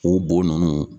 O bo ninnu